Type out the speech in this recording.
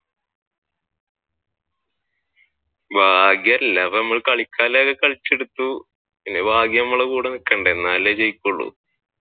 ഭാഗ്യം അല്ല അപ്പൊ നമ്മൾ കളിച്ചാലല്ലേ കളിച്ചെടുത്തു പിന്നെ ഭാഗ്യം നമ്മുടെ കൂടെ നിൽക്കണ്ടേ അന്നാലല്ലേ ജയിക്കൂൾ